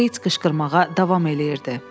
Beit qışqırmağa davam eləyirdi.